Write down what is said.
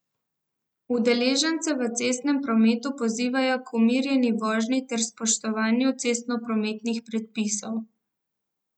Udeležence v cestnem prometu pozivajo k umirjeni vožnji ter spoštovanju cestnoprometnih predpisov.